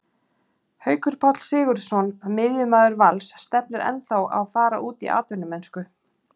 Haukur Páll Sigurðsson, miðjumaður Vals, stefnir ennþá að fara út í atvinnumennsku.